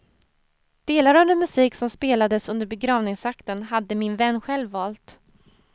Delar av den musik som spelades under begravningsakten hade min vän själv valt.